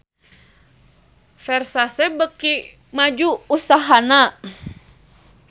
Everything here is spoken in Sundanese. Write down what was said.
Versace beuki maju usahana